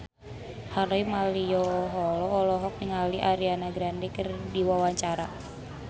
Harvey Malaiholo olohok ningali Ariana Grande keur diwawancara